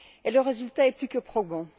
Le résultat est plus que probant.